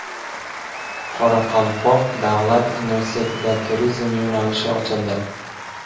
Qoraqalpoq davlat universitetida turizm yo‘nalishi ochildi.